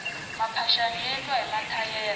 maphaxani ya endliwa hi mathayere